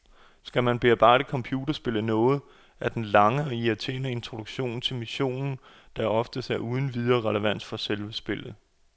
Skal man bebrejde computerspillet noget, er det den lange og irriterende introduktion til missionen, der som oftest er uden videre relevans for selve spillet.